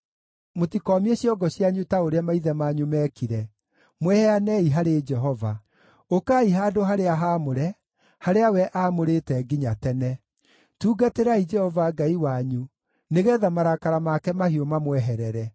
Mũtikoomie ciongo cianyu ta ũrĩa maithe manyu meekire; mwĩheanei harĩ Jehova. Ũkai handũ-harĩa-haamũre, harĩa we aamũrĩte nginya tene. Tungatĩrai Jehova Ngai wanyu, nĩgeetha marakara make mahiũ mamweherere.